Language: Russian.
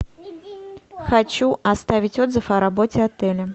хочу оставить отзыв о работе отеля